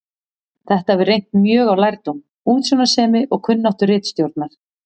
Þetta hefur reynt mjög á lærdóm, útsjónarsemi og kunnáttu ritstjórnar.